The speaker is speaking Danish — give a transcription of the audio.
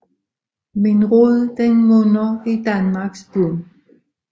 Min Rod den munder i Danmarks Bund